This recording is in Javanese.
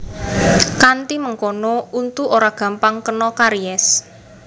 Kanthi mengkono untu ora gampang kena karies